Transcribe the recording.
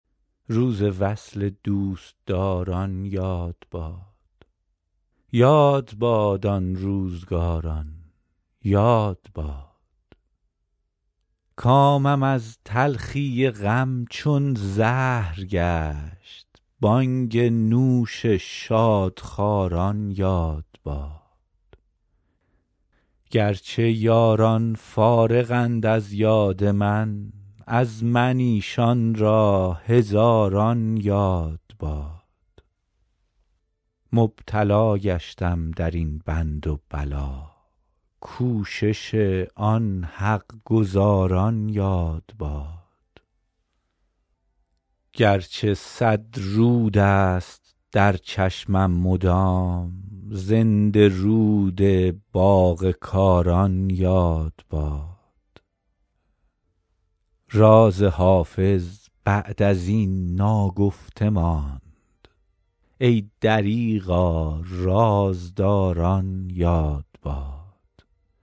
روز وصل دوستداران یاد باد یاد باد آن روزگاران یاد باد کامم از تلخی غم چون زهر گشت بانگ نوش شادخواران یاد باد گر چه یاران فارغند از یاد من از من ایشان را هزاران یاد باد مبتلا گشتم در این بند و بلا کوشش آن حق گزاران یاد باد گر چه صد رود است در چشمم مدام زنده رود باغ کاران یاد باد راز حافظ بعد از این ناگفته ماند ای دریغا رازداران یاد باد